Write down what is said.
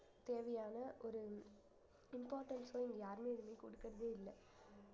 தேவையான ஒரு importance அ இங்க யாருமே எதுவுமே கொடுக்கறதே இல்ல